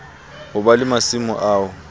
ho ba le masimo ao